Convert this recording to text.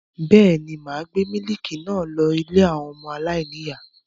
Bẹ́ẹ̀ ni, mà á gbé mílíkì náà lọ ilé àwọn ọmọ aláìníìyá.